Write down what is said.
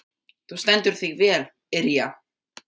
Þú stendur þig vel, Irja!